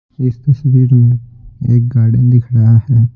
इस तस्वीर में एक गार्डन दिख रहा है।